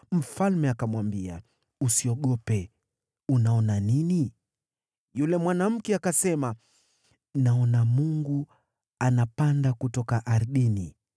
Mfalme akamwambia, “Usiogope. Unaona nini?” Yule mwanamke akasema, “Naona mungu unapanda kutoka ardhini.”